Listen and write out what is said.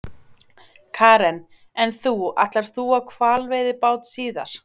Karen: En þú, ætlar þú á hvalveiðibát síðar?